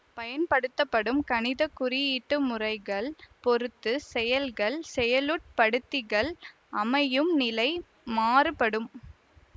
பயன்படுத்தப்படும் கணித குறியீட்டு முறைகள் பொறுத்து செயல்கள் செயலுட்படுத்திகள் அமையும் நிலை மாறுபடும்